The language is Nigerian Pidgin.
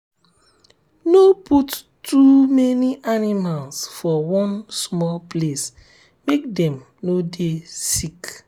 no put too many animals for one small place make dem no dey sick.